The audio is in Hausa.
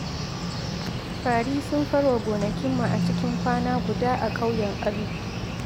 Fari sun farwa gonakinmu a cikin kwana guda a ƙauyen Alu.